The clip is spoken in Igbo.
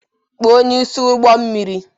Kpọọ onye isi ụgbọ mmiri.